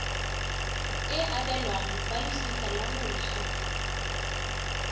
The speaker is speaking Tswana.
e abelwang balosika la moswi